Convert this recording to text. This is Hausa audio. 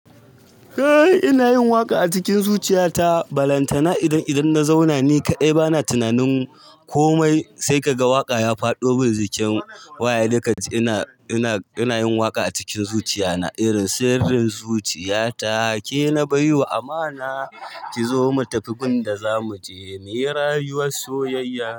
Eh ina yin waƙa a cikin zuciya ta balantana idan, idan na zauna ni kaɗai bana tunanin komai. Sai ka ga waƙa ya fado cikin waya he dai ka ji ina, ina, ina yin waƙa a cikin zuciya na irin sirrin zuciya ta. Ke na bai wa amana ki zo mu tafi gundda zamu je me rayuwar soyayya.